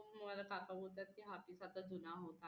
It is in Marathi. मला काका बोलतात हा peace जुना होत आला